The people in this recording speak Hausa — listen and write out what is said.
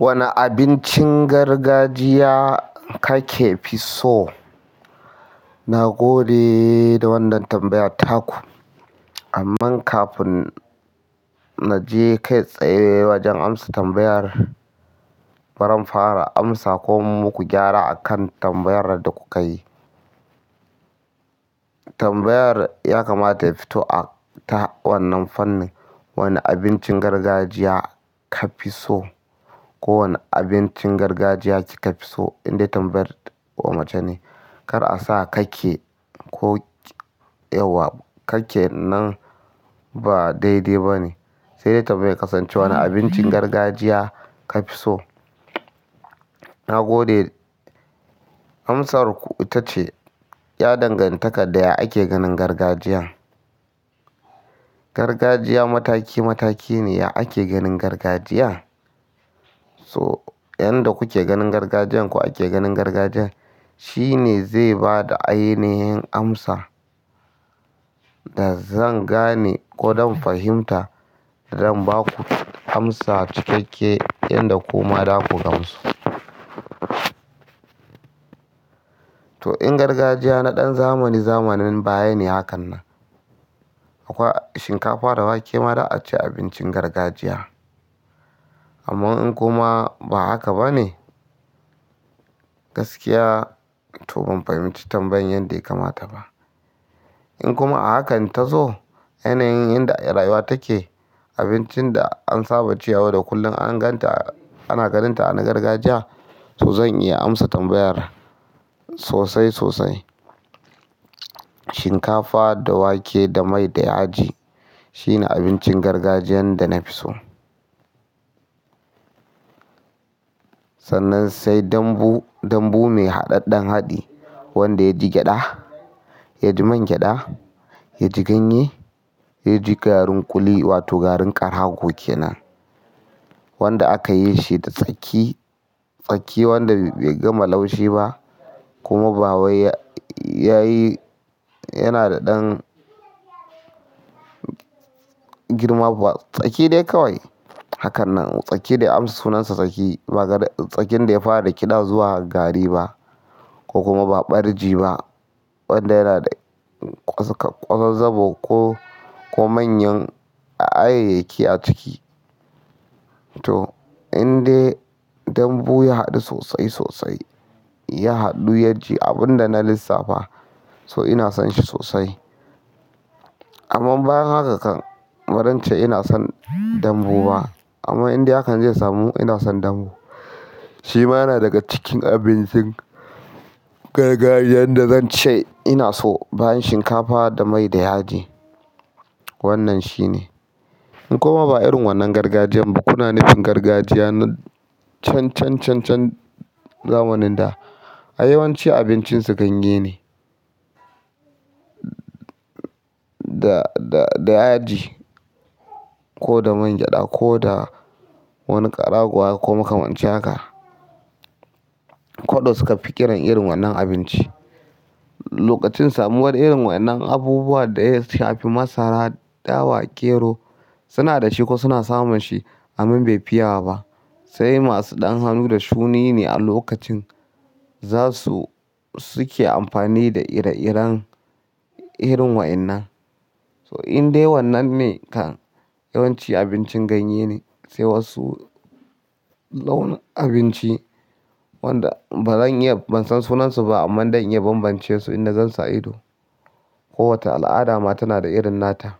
Wane abincin gargajiya kake fi so? Na gode da wannan tambayar taku, amma kafin naje kai tsaye wajen amsa tambayar, bari in fara amsa ko mu ku gyara akan tambayar da kukayi. Tambayar ya kamata ya fito a ta wannan fannin, wane abincin gargajiya ka fi so? Ko wane abincin gargajiya kika fi so? Inde tambayar ko mace ne. Kar a sa kake ko yauwa, kake nan ba dai-dai bane. Sai dai tambayar kasance wane abincin gargajiya kafi so? Na gode, amsarku ita ce ya dangantaka da ya ake ganin gargajiya. Gargajiya mataki mataki ne, ya ake ganin gargajiya? So! Yanda kuke ganin gargajiyan ko ake ganin gargajiyan, shi ne zai ba da ainihin amsa da zan gane ko don fahimta don ba ku amsa cikakke yanda kuma za ku gamsu. To, in gargajiya na ɗan zamani-zamanin baya ne hakan nan. Akwa shinkafa da wake ma za'a ce abincin gargajiya. Amman in kuma ba haka bane, toh gaskiya ban fahimci tambayar yadda ya kamata ba in kuma a hakan tazo, ainihin inda rayuwa take, abincin da an saba cewa da kullum an ganta ana ganinta ana gargajiya, toh zan iya amsa tambayar sosai-sosai. Shinkafa da wake da mai da yaji, shine abincin gargajiyan da nafi so. Sannan sai dambu, dambu mai haɗaɗɗen haɗi, wanda yaji gyaɗa, yaji man gyaɗa, yaji ganye, yaji garin ƙuli wato garin ƙarago kenan. Wanda aka yi shi da tsaki, tsaki wanda bai gama laushi ba kuma ba wai ya yi, yana da ɗan girma ba. Tsaki dai kawai. Hakan nan, tsaki da ya amsa sunansa tsaki. Ba tsakin da ya fara rikiɗa zuwa gari ba, ko kuma ba ɓarji ba wanda yana da kwasakwazzaabo ko, ko manyan ayayyaki a ciki. Toh, indai dambu ya haɗu sosai sosai, ya haɗu yaji abunda na lissafa, toh ina son shi sosai. Ammannbayan haka kam, bazance ina son dambu ba. Amman indai hakan ze samu, ina son dambu. Shi ma yana daga cikin abincin gargajiyan da zan ce ina so bayan shinkafa da mai da yaji. Wannan shine. In kuma ba irin wannan gargajiyan ba, kuna nufin gargajiya na can can can can zamanin da, a yawanci abincin su ganye ne. Da, da, da yaji ko da man gyaɗa ko da wani ƙarago haka ko makamancin haka. Koɗo suka fi kiran irin wannan abinci. Lokaci samun irin wa'yannan abubuwa da ya shafi masara, dawa, gero, suna dashi ko suna samun shi amma befi yawa ba. Sai masu ɗan hannu da shuni ne a lokacin za su, suke amfani da ire-iren irin waɗannan. Toh, indai wannan ne kan yawanci abincin ganye ne, sai wasu launi abinci wanda bazan iya ban san sunansu ba amma dan iya banbance su idan zan sayo. Ko wata al'ada ma tana da irin nata.